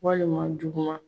Walima juguma